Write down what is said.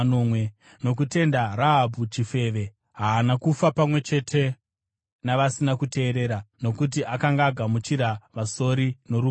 Nokutenda Rahabhi chifeve, haana kufa pamwe chete navasina kuteerera, nokuti akanga agamuchira vasori norugare.